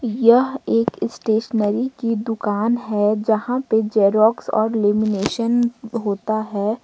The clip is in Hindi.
यह एक स्टेशनरी की दुकान है जहां पर जेरोक्स और लेमिनेशन होता है।